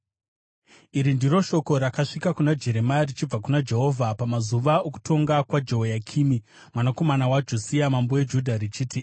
Iri ndiro shoko rakasvika kuna Jeremia richibva kuna Jehovha pamazuva okutonga kwaJehoyakimi, mwanakomana waJosia mambo weJudha, richiti,